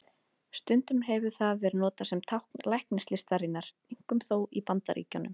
Stundum hefur það verið notað sem tákn læknislistarinnar, einkum þó í Bandaríkjunum.